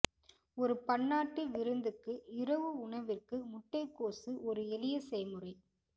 ஒரு பன்னாட்டு விருந்துக்கு இரவு உணவிற்கு முட்டைக்கோசு ஒரு எளிய செய்முறை